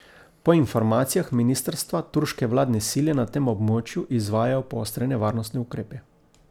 Po informacijah ministrstva turške vladne sile na tem območju izvajajo poostrene varnostne ukrepe.